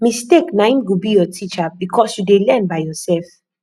mistake na im go be your teacher because you dey learn by yourself